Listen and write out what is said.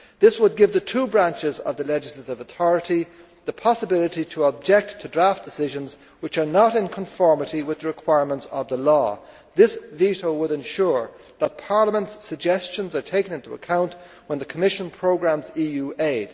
This would give the two branches of the legislative authority the possibility to object to draft decisions which are not in conformity with the requirements of the law. This veto would ensure that Parliament's suggestions are taken into account when the Commission programmes EU aid.